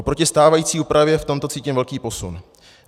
Oproti stávající úpravě v tomto cítím velký posun.